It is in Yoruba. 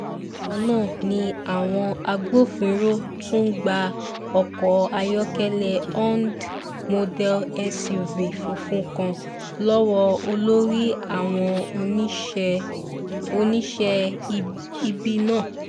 bákan náà ni àwọn agbófinró tún gba ọkọ̀ ayọ́kẹ́lẹ́ hond model suv funfun kan lọ́wọ́ olórí àwọn oníṣẹ́ ibi náà